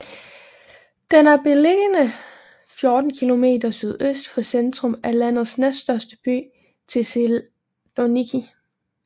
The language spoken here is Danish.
Den er beliggende 14 kilometer sydøst for centrum af landets næststørste by Thessaloniki